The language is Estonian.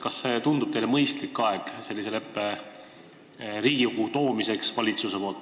Kas see tundub teile mõistliku ajana sellise leppe valitsuse poolt Riigikokku toomiseks?